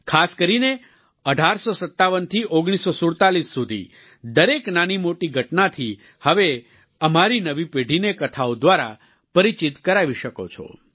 ખાસ કરીને 1857 થી 1947 સુધી દરેક નાનીમોટી ઘટનાથી હવે અમારી નવી પેઢીને કથાઓ દ્વારા પરિચિત કરાવી શકો છો